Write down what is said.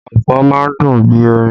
Ọfọ̀ má ń dùn bí orin